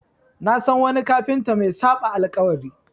Na san wani kafinta mai saɓa alƙawari.